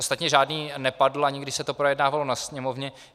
Ostatně žádný nepadl, ani když se to projednávalo na Sněmovně.